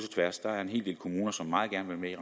tværs der er en hel del kommuner som meget gerne vil